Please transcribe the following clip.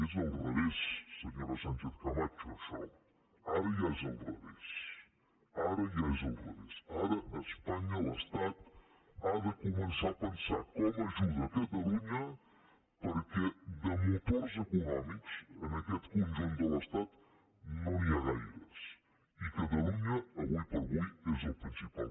és al revés senyora sánchez·camacho això ara ja és al revés ara ja és al revés ara espanya l’estat ha de començar a pensar com ajuda catalu·nya perquè de motors econòmics en aquest conjunt de l’estat no n’hi ha gaires i catalunya ara com ara és el principal